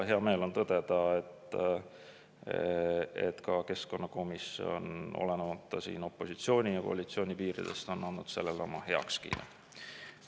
Hea meel on tõdeda, et ka keskkonnakomisjon, olenemata opositsiooni ja koalitsiooni piiridest, on andnud sellele oma heakskiidu.